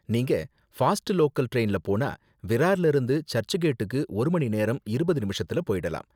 நீங்க fast local டிரைன்ல போனா விரார்ல இருந்து சர்ச் கேட்டுக்கு ஒரு மணிநேரம் இருபது நிமிஷத்துல போயிடலாம்.